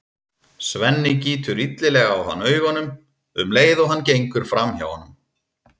Svenni gýtur illilega á hann augunum um leið og hann gengur fram hjá honum.